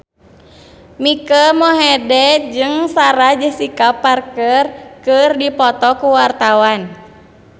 Mike Mohede jeung Sarah Jessica Parker keur dipoto ku wartawan